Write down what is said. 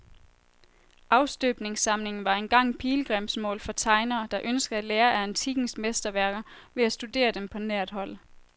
Afstøbningssamlingen var engang pilgrimsmål for tegnere, der ønskede at lære af antikkens mesterværker ved at studere dem på nært hold.